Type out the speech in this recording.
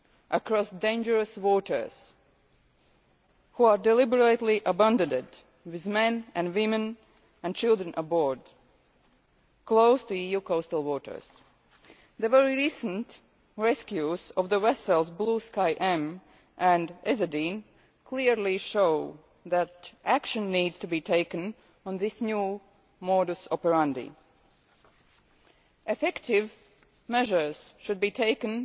across dangerous waters and which are deliberately abandoned, with men, women and children on board, close to EU coastal waters. The very recent rescues of the vessels Blue Sky M and Ezadeen clearly show that action needs to be taken on this new modus operandi Effective measures should be